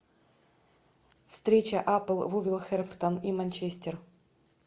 встреча апл вулверхэмптон и манчестер